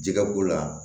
Jɛgɛ b'o la